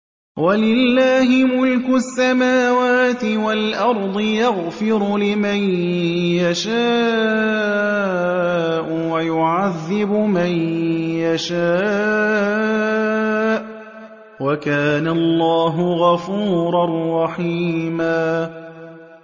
وَلِلَّهِ مُلْكُ السَّمَاوَاتِ وَالْأَرْضِ ۚ يَغْفِرُ لِمَن يَشَاءُ وَيُعَذِّبُ مَن يَشَاءُ ۚ وَكَانَ اللَّهُ غَفُورًا رَّحِيمًا